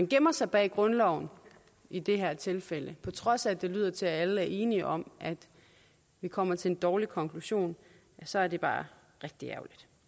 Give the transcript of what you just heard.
gemmer sig bag grundloven i det her tilfælde på trods af at det lyder til at alle er enige om at vi kommer til en dårlig konklusion så er det bare rigtig